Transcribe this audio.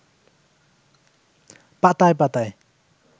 পাতায় পাতায়